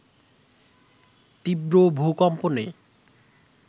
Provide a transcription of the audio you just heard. তীব্র ভূকম্পনে